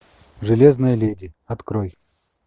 железная леди открой